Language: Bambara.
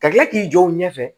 Ka kila k'i jɔ u ɲɛfɛ